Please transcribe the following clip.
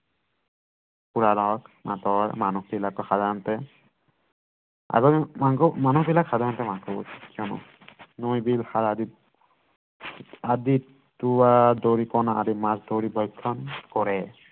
মানুহবিলাকো সাধাৰণতে নৈ বিল আদিত টোৰা দৰিকণা আদি মাছ ধৰি ব্যাখ্যাণ কৰে